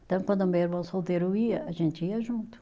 Então, quando meu irmão solteiro ia, a gente ia junto.